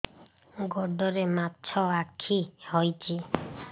ଗୋଡ଼ରେ ମାଛଆଖି ହୋଇଛି